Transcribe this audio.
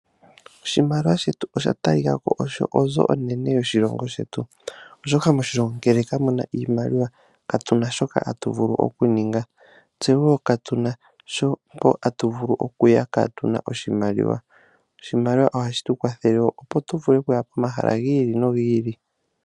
Oshimaliwa shetu osha talikako onga osho onzo onene moshilongo shetu, oshoka moshilongo ngele kamuna iimaliwa nena katuna shi tatu vulu okuninga, tse katuna wo mpa tatu okuya kaatuna oshimaliwa. Oshimaliwa ohashi tu kwathele wo opo tuvule okuya komahala gi ili nogi ili.